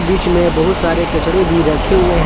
बीच में बहुत सारे कपड़े भी रखे हुए हैं।